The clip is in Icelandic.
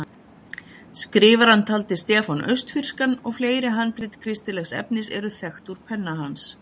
Skrifarann taldi Stefán austfirskan og fleiri handrit kristilegs efnis eru þekkt úr penna hans.